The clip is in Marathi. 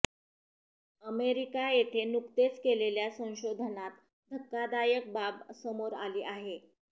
अमेरिका येथे नुकतेच केलेल्या संशोधनात धक्कादायक बाब समोर आली आहे